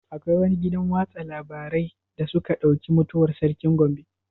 Akwai wani gidan watsa labarai da suka ɗauki mutuwar sarkin Gombe?